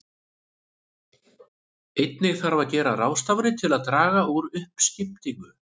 Einnig þarf að gera ráðstafanir til að draga úr uppskiptingu.